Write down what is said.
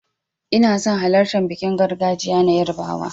Ina son halartan bikin gargajiya na yarbawa.